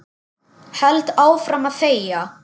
Held áfram að þegja.